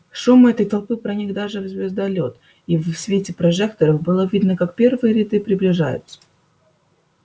шум этой толпы проник даже в звездолёт и в свете прожекторов было видно как первые ряды приближаются